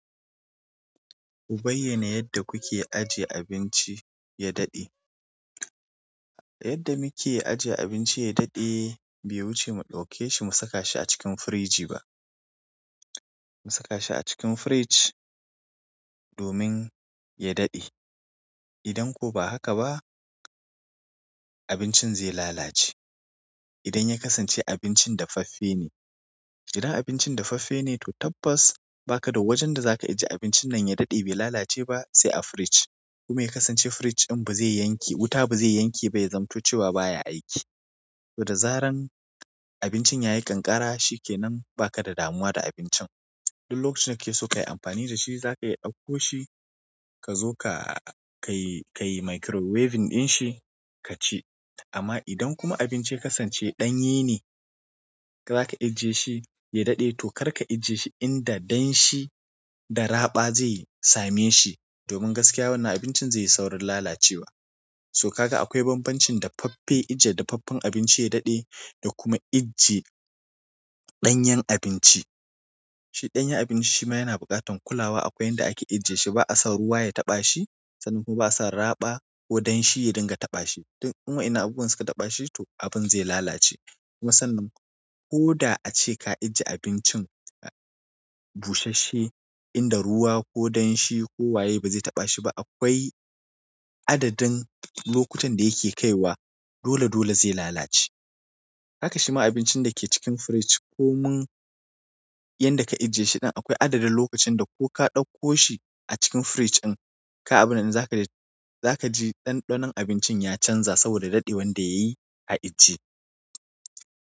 Ku bayyana yadda kuke ajie abinci ya daɗe yadda muke aje abinci ya daɗe, bai wuce mu ɗauke shi mu saka shi a cikin firiji ba. Mu saka shi a cikin firij domin ya daɗe. Idan ko ba haka ba, abincin zai lalace. Idan ya kasance abincin dafaffe ne, idan abincin dafaffe ne, to tabbas baka da wajen da zaka ajiye abincin nan ya daɗe bai lalace ba sai a firij. Kuma ya kasance firij din ba zai yanke-- wuta ba, zaiba yazamto cewa baya aiki. To da zaran abincin ya yi ƙanƙara, shikenan, ba ka da damuwa da abincin. Duk lokacin da kakeso kayi amfani da shi, zakaiya ɗakko shi kazo kayi microwave din shi kaci. Amma idan kuma abinci ya kasance ɗanye ne, zaka ijjiye shi ya daɗe, to karka ajiye shi inda danshi da raɓa zai same shi. Domin gaskiya wannan abincin zai yi saurin lalacewa. To haka akwai banbancin dafaffe, ajiye dafaffen abinci ya daɗe da kuma ajiye ɗanyan abinci. Shi ɗanyen abinci shima yana bukatan kulawa akwai yanda ake ijiye ba, a son ruwa ya taɓa shi sannan kuma ba, a son raba ko danshi ya rinka tana shi. In wayannan abubuwan suka taɓa shi, to abun zai lalace. Kuma sannan, ko da ace ka ajiye abincin busasshe, inda ruwa ko danshi ko waye ba zai taɓa shi ba, akwai adadin lokutan da yake kaiwa dole -dole zai lalace. Haka shi ma abincin da ke cikin firij ko mun yanda ka ajiye shi din akwai adadin lokacin da ko ka ɗakko shi a cikin firij din, ka abinan in za ka ji ɗanɗanon abincin ya canza saboda daɗewan da yayi a ijjiye.